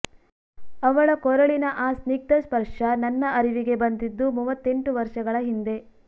ಅವಳ ಕೊರಳಿನ ಆ ಸ್ನಿಗ್ಧ ಸ್ಪರ್ಶ ನನ್ನ ಅರಿವಿಗೆ ಬಂದಿದ್ದು ಮೂವತ್ತೆಂಟು ವರ್ಷಗಳ ಹಿಂದೆ